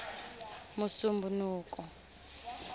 musumbunuko